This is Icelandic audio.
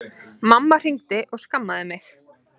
Mamma hringdi og skammaði mig